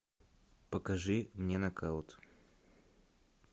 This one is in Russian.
покажи мне нокаут